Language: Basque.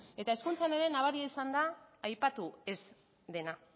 eta hezkuntzan ere nabaria izan da aipatu ez dena